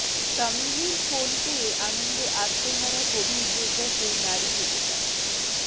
তামিমের ফোন পেয়ে আনন্দে আত্মহারা কোভিড যোদ্ধা সেই নারী ক্রিকেটার